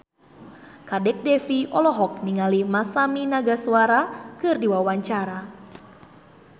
Kadek Devi olohok ningali Masami Nagasawa keur diwawancara